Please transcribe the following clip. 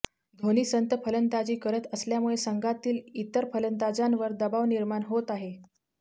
धोनी संथ फलंदाजी करत असल्यामुळे संघातील इतर फलंदाजांवर दबाव निर्माण होत आहे